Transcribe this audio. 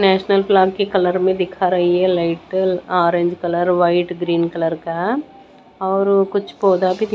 national flag के colour में दिखा रही है light orange colour white green colour का और कुछ पौधा भी --